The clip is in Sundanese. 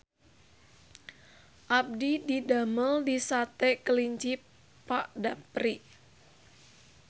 Abdi didamel di Sate Kelinci Pak Dapri